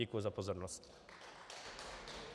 Děkuji za pozornost.